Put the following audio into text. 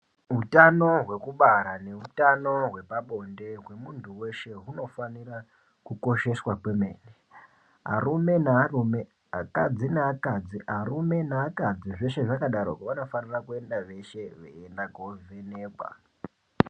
Hutano hwekubara ngehutano hwepabonde hwemuntu weshe hunofanira kukosheswa kwemene arume nearume akadzi neakadzi arume neakadzi zveshe zvakadaroko vanofanira kuenda veshe veienda kundovhenekwa.